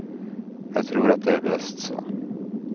Jag tror att det är bäst så.